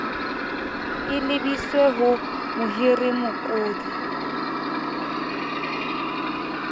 e lebiswe ho mohiriwa mokodi